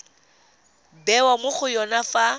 bewa mo go yone fa